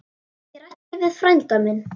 Ég ræddi við frænda minn.